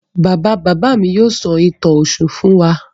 Bàbá-bàbá mi yóò sọ ìtàn Ọ̀ṣun fún wa.